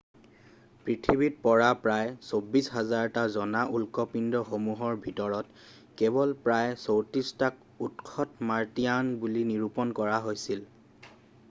পৃথিৱীত পৰা প্ৰায় ২৪,০০০টা জনা উল্কাপিণ্ডসমূহৰ ভিতৰত কেৱল প্ৰায় ৩৪ টাক উৎসত মাৰ্টিয়ান বুলি নিৰূপণ কৰা হৈছিল৷